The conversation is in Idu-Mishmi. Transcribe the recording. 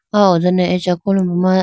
aw ho done acha kolombo ma.